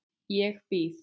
Ég býð!